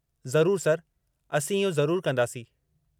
ज़रूरु सर, असीं इहो ज़रूरु कंदासीं।